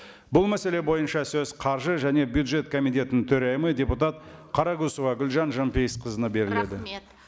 бұл мәселе бойынша сөз қаржы және бюджет комитетінің төрайымы депутат қарақұсова гүлжан жанпейісқызына беріледі рахмет